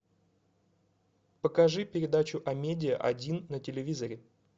покажи передачу амедиа один на телевизоре